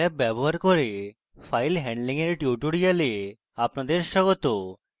scilab ব্যবহার করে file handling এর tutorial আপনাদের স্বাগত